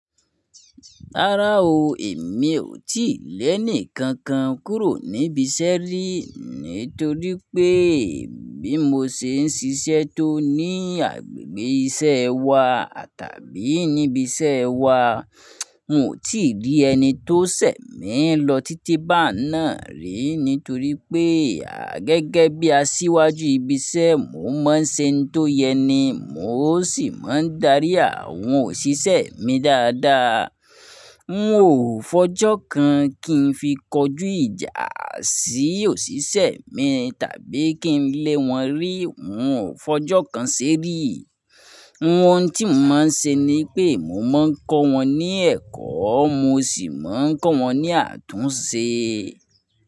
Rárá o, èmi ò tíì le ẹni kankan kúrò níbi isẹ́ rí, nítorí pé bí mo se ń ṣiṣẹ́ tó ní agbègbè isẹ́ wa tàbí níbi iṣẹ́ wa, n ò tí rí ẹni tó sẹ̀ mí lọ títí bá n náà rí, nítorí pé gẹ́gẹ́ bí aṣíwájú ibi iṣẹ́, mo máa ń ṣe ohun tó yẹ ni, mo sì máa ń darí àwọn òṣìṣẹ́ mi dáadáa. N ò fọjọ́ kan kí n fi kọjú ìjà sí òṣìṣẹ́ mi tàbí kí n lé wọn rí, n ò fọjọ́ kan sé rí. Ohun tí mo máa ń se ni pé mo máa ń kọ́ wọn ní ẹ̀kọ́, mo sì máa ń kọ́ wọn ní àtúnṣe.